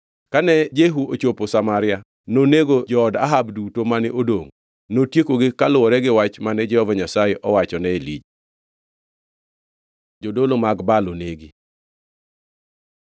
Kane Jehu ochopo Samaria, nonego jood Ahab duto mane odongʼ, notiekogi kaluwore gi wach mane Jehova Nyasaye owachone Elija. Jodolo mag Baal onegi